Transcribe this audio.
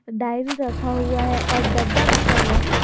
Diary रखा हुआ है और डब्बा रखा हुआ है।